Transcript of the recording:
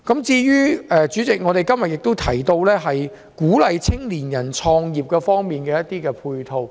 主席，我們今天也提到鼓勵青年人創業的配套。